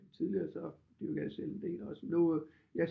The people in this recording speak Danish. Tidligere så dyrkede jeg selv en del også nu jeg